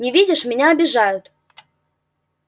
не видишь меня обижают